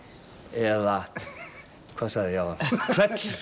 eða hvað sagði ég áðan